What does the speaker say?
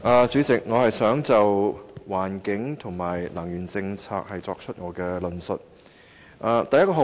主席，我想就環境和能源政策作出論述。